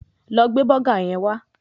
Lọ gbé bọ́gà yẹn wá